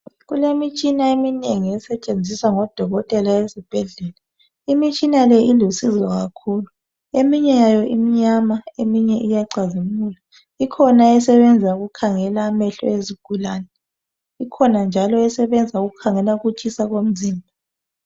Kulemitshina eminengi esetshenziswa ngodokotela esibhedlela. Imitshina le ilusizo kakhulu. Eminye yayo imnyama eminye iyacazimula. Ikhona esebenza ukukhangela amehlo ezigulane .Ikhona njalo esebenza ukukhangela ukutshisa komzimba.